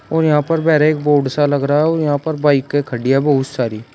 और यहां पे बाहर एक बोर्ड सा लग रहा हूँ और यहां पर बाईकें खड़ी है बहुत सारी।